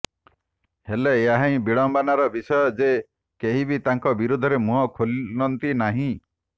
ହେଲେ ଏହା ହିଁ ବିଡ଼ମ୍ବନାର ବିଷୟ ଯେ କେହି ବି ତାଙ୍କ ବିରୋଧରେ ମୁହଁ ଖୋଲନ୍ତି ନାହିଁ